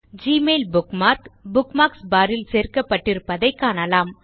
Gmail bookmark bookmarks bar ல் சேர்க்கப்பட்டிருப்பதை காணலாம்